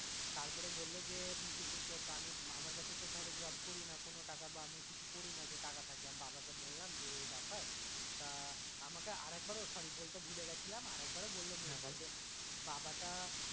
তারপরে বললো যে তিনশো চুয়াত্তর আমি আমার কাছে তো ধরো job করি না কোনো টাকা বা আমি কিছু করি না যে আমার কাছে টাকা থাকবে বাবা কে বললাম যে এ এই ব্যাপার তা আমাকে আরেকবার ও sorry বলতে ভুলে গেছিলাম আরেকবার ও বললো যে বাবা টা